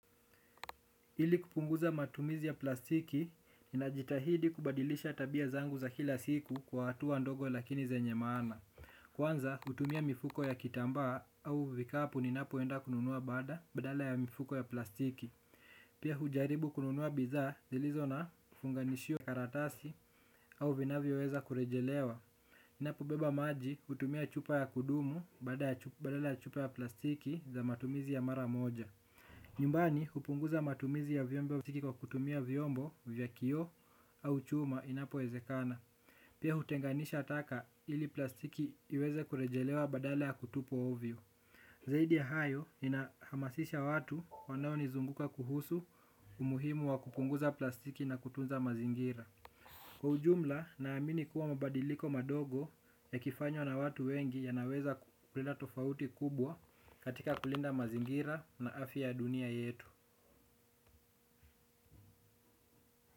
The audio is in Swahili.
Ili kupunguza matumizi ya plastiki, ninajitahidi kubadilisha tabia zangu za kila siku kwa hatua ndogo lakini zenye maana. Kwanza, hutumia mifuko ya kitambaa au vikapu ninapoenda kununua baada badala ya mifuko ya plastiki. Pia hujaribu kununua bidhaa, zilizo na funganishio karatasi au vinavyoweza kurejelewa. Ninapobeba maji hutumia chupa ya kudumu badala ya chupa ya plastiki za matumizi ya mara moja. Nyumbani hupunguza matumizi ya vyombo, kwa kutumia vyombo vya kioo au chuma inapowezekana. Pia hutenganisha taka ili plastiki iweze kurejelewa badala ya kutupwa ovyo. Zaidi ya hayo, ninahamasisha watu wanaonizunguka kuhusu umuhimu wa kupunguza plastiki na kutunza mazingira kwa ujumla naamini kuwa mabadiliko madogo yakifanywa na watu wengi yanaweza kulinda tofauti kubwa katika kulinda mazingira na afya ya dunia yetu.